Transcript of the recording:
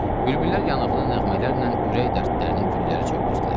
Bülbüllər yanıqlı nəğmələrlə ürək dərdlərini güllərə söyləyirdilər.